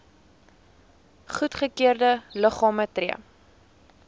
goedgekeurde liggame tree